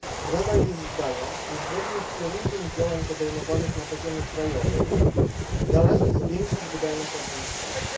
Rada jest zdania, że zgodnie z kierunkiem działań podejmowanych na poziomie krajowym należy zwiększyć wydajność administracji.